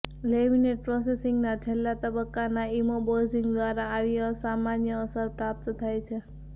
laminate પ્રોસેસિંગના છેલ્લા તબક્કાના ઇમોબોઝિંગ દ્વારા આવી અસામાન્ય અસર પ્રાપ્ત થાય છે